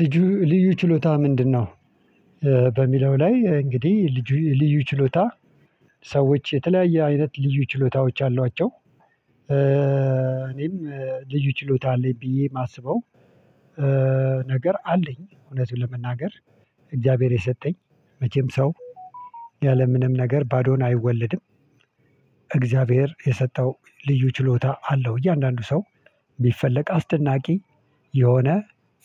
ልዩ ልዩ ችሎታ ምንድነው በሚለው ላይ እንግዲህ ልጁ ልዩ ችሎታ ሰዎች የተለያየ አይነት ልዩ ችሎታዎች አሏቸው። እኔም ልዩ ችሎታ አለኝ ብዬ የማስበው ነገር አለኝ እውነቱን ለመናገር እግዚአብሔር የሰጠኝ መቼም ሰው ያለምንም ነገር ባዶን አይወለድም። እግዚአብሔር የሰጠው ልዩ ችሎታ አለው እያንዳንዱ ሰው ቢፈለቅ አስደናቂ የሆነ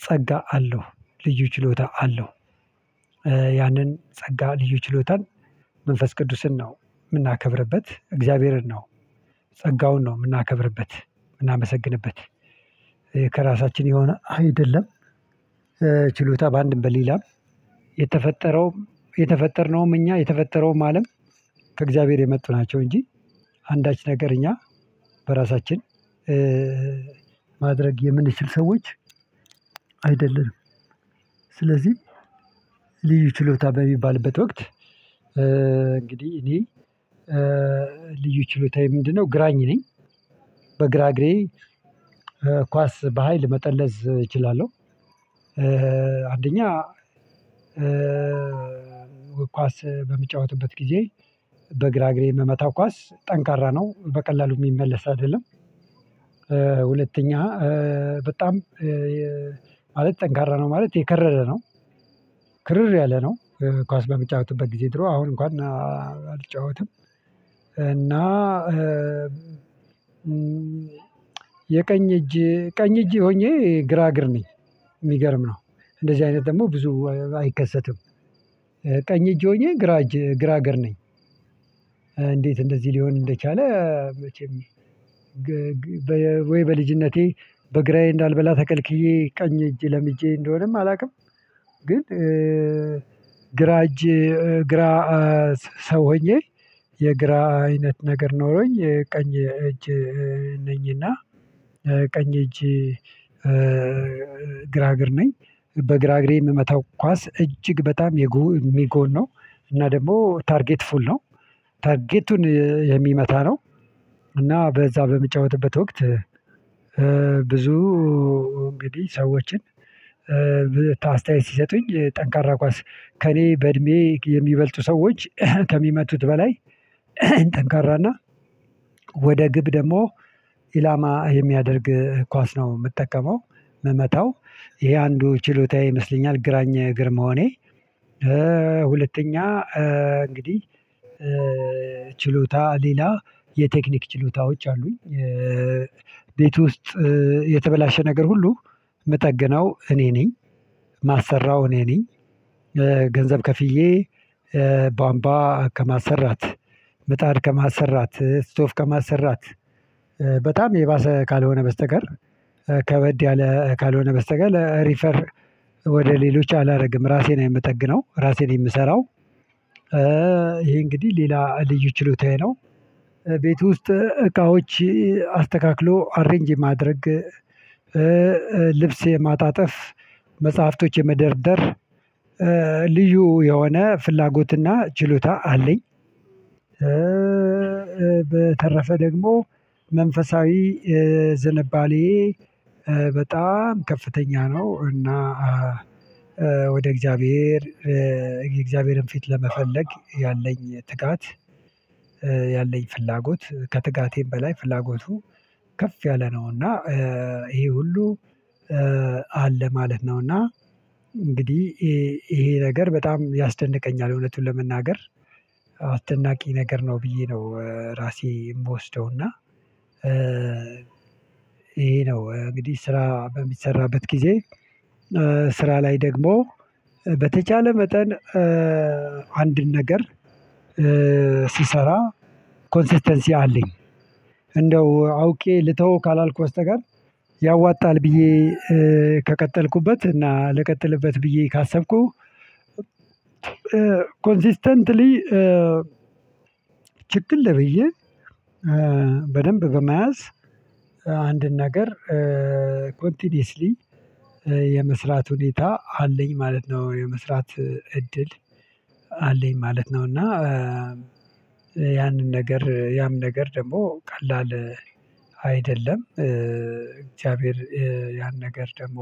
ጸጋ አለው ልዩ ችሎታ አለው። ያንን ጸጋ ልዩ ችሎታን መንፈስ ቅዱስን ነው የምናከብርበት እግዚአብሔርን ነው ጸጋውን ነው የምናከብርበት የምናመሰግንበት ከራሳችን የሆነ አይደለም ችሎታ በአንድም በሌላም የተፈጠረውም የተፈጠርነውም እኛ የተፈጠረውም አለም ከእግዚአብሔር የመጡ ናቸው እንጂ አንዳች ነገር እኛ በራሳችን ማድረግ የምንችል ሰዎች አይደለንም። ስለዚህ ሊዩ ችሎታ በሚባልበት ወቅት እንግዲህ እኔ ልዩ ችሎታዬ ምንድነው ግራኝ ነኝ በግራ እግሬ ኳስ በሃይል መጠለዝ እችላለሁ። አንደኛ ኳስ በምጫወትበት ጊዜ በግራ እግሬ የምመታው ኳስ ጠንካራ ነው በቀላሉ የሚመለስ አይደለም። ሁለተኛ በጣም ማለት ጠንካራ ነው ማለት የከረረ ነው ክርር ያለ ነው። ኳስ በምጫወትበት ጊዜ ድሮ አሁን እንኳን አልጫወትም፤ እና የቀኝ እጅ ቀኝ እጅ ሆኜ ግራ እግር ነኝ የሚገርም ነው እንደዚህ አይነት ደግሞ ብዙ አይከሰትም ቀኝ እጅ ሆኜ ግራ እጅ ግራ እግር ነኝ እንዴት እንደዚህ ሊሆን እንደቻለ መቼም ወይ በልጅነቴ በግራዬ እንዳልበላ ተከልክዬ ቀኝ እጅ ለምጄ እንደሆነም አላውቅም ግን ግራ እጅ ግራ ሰው ሆኜ የግራ አይነት ነገር ኖሮኝ ቀኝ እጅ ነኝ፤ እና ቀኝ እጅ ግራ እግር ነኝ። በግራ እግሬ የምመታው ኳስ እጅግ በጣም የሚጎን ነው እና ደግሞ ታርጌት ፉል ነው ታርጌቱን የሚመታ ነው እና በዛ በምጫወትበት ወቅት ብዙ እንግዲህ ሰዎችን ታስታያየት ሲሰጡኝ ጠንካራ ኳስ ከእኔ በእድሜ የሚበልጡ ሰዎች ከሚመቱት በላይ ጠንካራና ወደ ግብ ደግሞ ኢላማ የሚያደርግ ኳስ ነው የምጠቀመው የምመታው ይሄ አንዱ ችሎታዬ ይመስለኛል ግራኝ እግር መሆኔ። ሁለተኛ እንግዲህ ችሎታ ሌላ የቴክኒክ ችሎታዎች አሉኝ። ቤት ውስጥ የተበላሸ ነገር ሁሉ ምጠግነው እኔ ነኝ ማሰራው እኔ ነኝ። ገንዘብ ከፍዬ ቧምቧ ከማሰራት፣ ምጣድ ከማሰራት፣ ስቶፍ ከማሰራት በጣም የባሰ ካልሆነ በስተቀር ከበድ ያለ ካልሆነ በስተቀር ሪፈር ወደ ሌሎች አላደርግም ራሴ ነኝ የምጠግነው ራሴ ነኝ የምሰራው። ይሄ እንግዲህ ሌላ ልዩ ችሎታዬ ነው። ቤት ውስጥ እቃዎች አስተካክሎ አሬንጅ የማድረግ ልብስ የማጣጠፍ፣ መጽሐፍቶች የመደርደር፣ ልዩ የሆነ ፍላጎትና ችሎታ አለኝ። በተረፈ ደግሞ መንፈሳዊ ዝንባሌዬ በጣም ከፍተኛ ነው፤ እና ወደ እግዚአብሔር የእግዚአብሔርን ፊት ለመፈለግ ያለኝ ትጋት ያለኝ ፍላጎት ከትጋቴም በላይ ፍላጎቱ ከፍ ያለ ነው እና ይሄ ሁሉ አለ ማለት ነው፤ እና እንግዲህ ይሄ ነገር በጣም ያስደንቀኛል የእውነቱን ለመናገር አስደናቂ ነገር ነው ብዬ ነው ራሴ የምወስደው፤ እና ይሄ ነው እንግዲህ ስራ በሚሰራበት ጊዜ ስራ ላይ ደግሞ በተቻለ መጠን አንድን ነገር ስሰራ ኮንሲስተንሲ አለኝ። እንደው አውቄ ልተወው ካላልኩ በስተቀር ያዋጣል ብዬ ከቀጠልኩበት እና ልቀጥልበት ብዬ ካሰብኩ ኮንሲስተንትሊ ችክል ብዬ በደንብ በመያዝ አንድን ነገር ኮንቲኒየስሊ የመስራት ሁኔታ አለኝ ማለት ነው የመስራት እድል አለኝ ማለት ነው፤ እና ያንን ነገር ያም ነገር ደግሞ ቀላል አይደለም እግዚአብሔር ያን ነገር ደግሞ